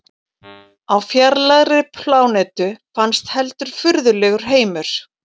Á fjarlægri plánetu fannst heldur furðulegur heimur.